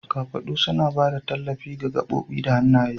Kafaɗu suna ba da tallafi ga gaɓoɓi da hannaye.